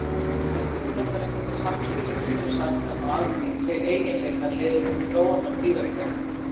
Kenningin fjallar um hvernig samspil umhverfisaðstæðna og arfgengra eiginleika leiðir til þróunar dýrategunda.